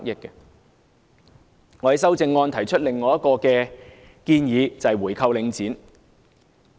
我在修正案中提出另一項建議，就是回購領展。